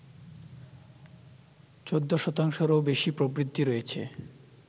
১৪ শতাংশেরও বেশি প্রবৃদ্ধি রয়েছে